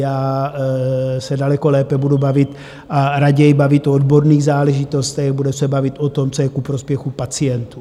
Já se daleko lépe budu bavit a raději bavit o odborných záležitostech, budu se bavit o tom, co je ku prospěchu pacientů.